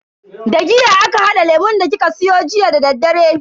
Da giya aka hada lemun da kika siyo jiya dadaddare.